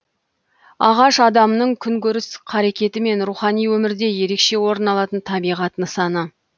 ағаш адамның күнкөріс қарекеті мен рухани өмірде ерекше орын алатын табиғат нысаны